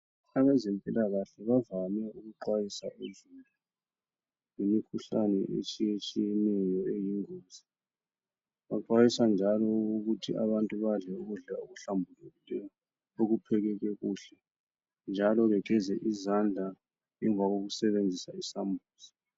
Abazempilakahle bavame ukuxwayisa uzulu ngemikhuhlane etshiyetshiyeneyo eyingozi. Baxwayisa njalo ukuthi abantu badle ukudla okuhlanbulekileyo njalo okuphekeke kuhle njalo bageze izandla emva kokusebenzisa isambuzi.